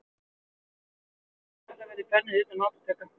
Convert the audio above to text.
Tóbakssala verði bönnuð utan apóteka